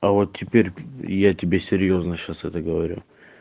а вот теперь я тебе серьёзно сейчас это говорю